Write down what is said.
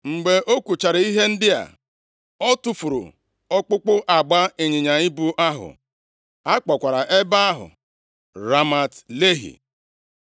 Mgbe o kwuchara ihe ndị a, o tufuru ọkpụkpụ agba ịnyịnya ibu ahụ; a kpọkwara ebe ahụ Ramat Lehi.